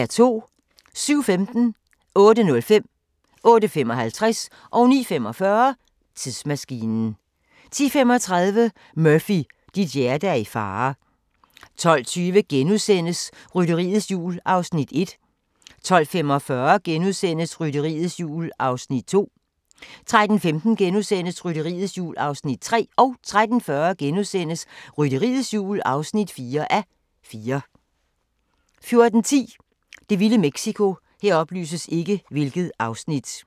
07:15: Tidsmaskinen 08:05: Tidsmaskinen 08:55: Tidsmaskinen 09:45: Tidsmaskinen 10:35: Murphy, dit hjerte er i fare 12:20: Rytteriets Jul (1:4)* 12:45: Rytteriets Jul (2:4)* 13:15: Rytteriets Jul (3:4)* 13:40: Rytteriets Jul (4:4)* 14:10: Det vilde Mexico